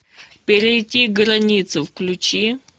перейти границу включи